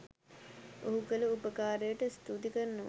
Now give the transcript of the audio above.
ඔහු කල උපකාරයට ස්තූති කරනවා